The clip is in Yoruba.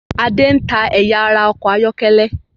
Adé ń ta ẹyà ara ọkọ̀ ayọ́kẹ́lẹ́.